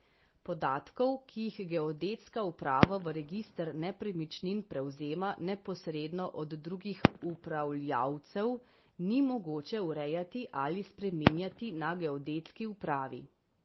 Podatkov, ki jih geodetska uprava v register nepremičnin prevzema neposredno od drugih upravljavcev, ni mogoče urejati ali spreminjati na geodetski upravi.